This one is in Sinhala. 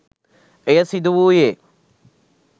එය සිදුවුයේ